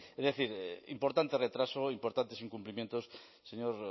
es decir importante retraso importantes incumplimientos señor